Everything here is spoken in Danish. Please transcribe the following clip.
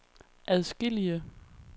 adskillige